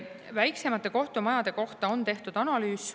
Väiksemate kohtumajade kohta on tehtud analüüs.